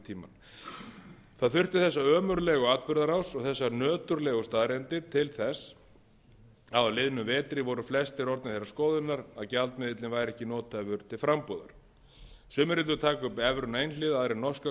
tímann það þurfti þessa ömurlegu atburðarás og þessar nöturlegu staðreyndir til þess að á liðnum vetri voru flestir orðnir þeirrar skoðunar að gjaldmiðillinn væri ekki nothæfur til frambúðar sumir vildu taka upp evruna einhliða aðrir norskar